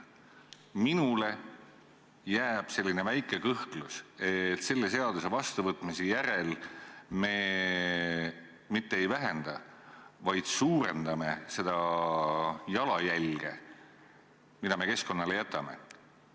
Mul on selline väike kõhklus, et selle seaduse vastuvõtmise järel me mitte ei vähenda, vaid suurendame seda jalajälge, mille me keskkonnale jätame.